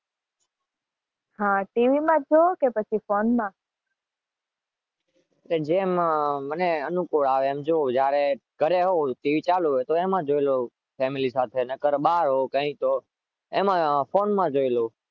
હા તો ટીવી માં જોવો કે પછી ફોનમાં?